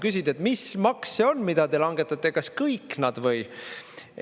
Küsid, et mis maks see on, mida te langetate, kas kõik nad või.